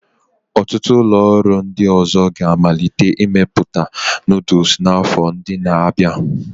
Ọtụtụ ụlọ ọrụ ndị ọzọ ga-amalite imepụta noodles n'afọ ndị na-abịa.